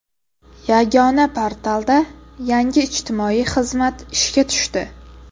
Yagona portalda yangi ijtimoiy xizmat ishga tushdi.